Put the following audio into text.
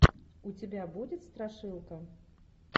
у тебя будет страшилка